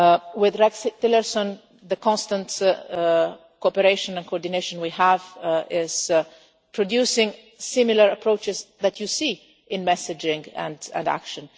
imagine. With Rex Tillerson the constant cooperation and coordination we have is producing similar approaches that you see in messaging and